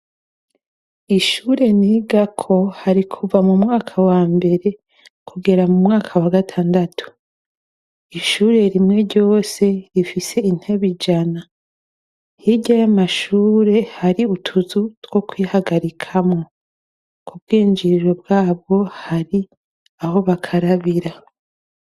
Ishure nigako hari kuva mumwaka wambere kugera mumwaka wagatandatu. Ishure rimwe ryose rifise intebe ijana. Hirya yamashure hari utuzu two kwihagarikamwo; kubwinjiriro bwabwo hari aho bakarabira.